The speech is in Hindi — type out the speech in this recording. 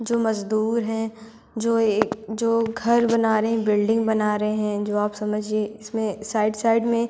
जो मजदूर हैं जो एक जो घर बना रहे हैं बिल्डिंग बना रहे हैं जो आप समझिए इसमें साइड साइड में--